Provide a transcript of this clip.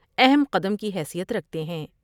اہم قدم کی حیثیت رکھتے ہیں ۔